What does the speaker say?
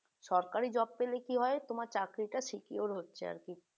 সরকারি job পেলে কি হয় তোমার চাকরিটা একটু secure হচ্ছে আর কি